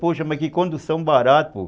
Poxa, mas que condução barata, pô.